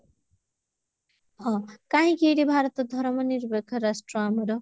ହଁ କାହିଁକି ଏଠି ଭାରତ ଧରମ ନିରପେକ୍ଷ ରାଷ୍ଟ୍ର ଆମର?